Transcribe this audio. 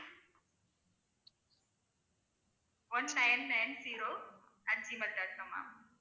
one nine nine zero at gmail dot com ma'am